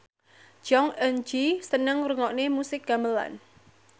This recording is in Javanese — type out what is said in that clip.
Jong Eun Ji seneng ngrungokne musik gamelan